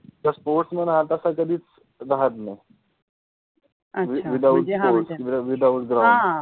तर sportsman हा तसा कधिच राहात नाहि, अच्छा, without sport अ अ without ground